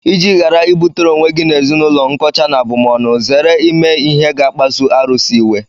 Iji ghara ibutere onwe gị na ezinaụlọ nkọcha na abụmọnụ, zere ịme ihe ga-akpasu arụsị iwe..